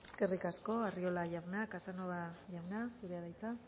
eskerrik asko arriola jauna casanova jauna zurea da hitza